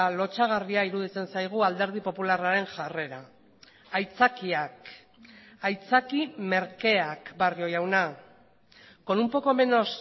lotsagarria iruditzen zaigu alderdi popularraren jarrera aitzakiak aitzaki merkeak barrio jauna con un poco menos